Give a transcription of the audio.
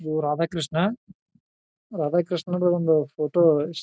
ಇದು ರಾಧಾ ಕೃಷ್ಣ ರಾಧಾ ಕೃಷ್ಣ ರ ಒಂದು ಫೋಟೋ .